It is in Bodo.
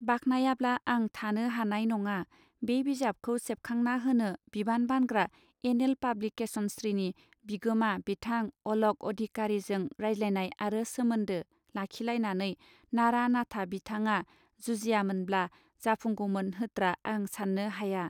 बाखनायाब्ला आं थानो हानाय नङा बे बिजाबखौ सेबखांना होनो बिबान बानग्रा एन एल पाब्लिकेसनसृनि बिगोमा बिथां अलक अधिकारीजों रायज्लायनाय आरो सोमोन्दो लाखिलायनानै नारा नाथा बिथाङा जुजियामोनब्ला जाफुंगौमोन होत्रा आं साननो हाया.